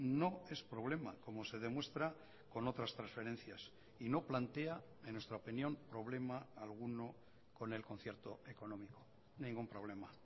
no es problema como se demuestra con otras transferencias y no plantea en nuestra opinión problema alguno con el concierto económico ningún problema